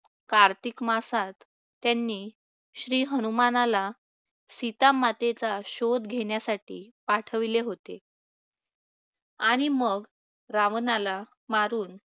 कार्तिक मासात त्यांनी श्री हनुमानाला सीता मातेचा शोध घेण्यासाठी पाठवले होते. आणि मग रावणाला मारून